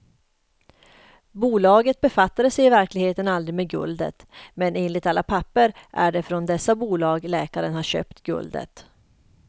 Bolagen befattade sig i verkligheten aldrig med guldet, men enligt alla papper är det från dessa bolag läkaren har köpt guldet.